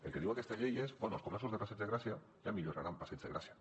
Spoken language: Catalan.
el que diu aquesta llei és bé els comerços del passeig de gràcia ja milloraran el passeig de gràcia